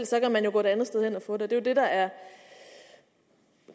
så kan man jo gå et andet sted hen og få den det er jo det der er